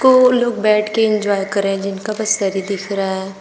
को लोग बैठ के इन्जॉय कर रहे हैं जिनका बस सर ही दिख रहा है।